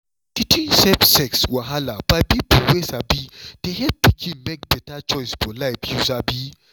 teaching safe sex wahala by people wey sabi dey help pikin make beta choice for life you sabi.